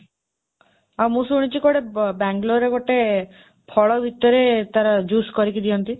ଆଉ ମୁଁ ଶୁଣିଛି କୁଆଡ଼େ ବାଙ୍ଗାଲୋରରେ ଗୋଟେ ଫଳ ଭିତରେ ତାର juice କରିକି ଦିଅନ୍ତି।